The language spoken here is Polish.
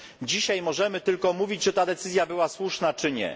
Dzisiaj możemy tylko mówić, czy ta decyzja była słuszna, czy nie.